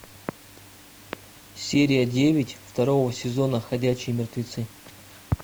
серия девять второго сезона ходячие мертвецы